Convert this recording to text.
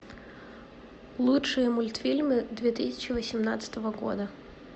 лучшие мультфильмы две тысячи восемнадцатого года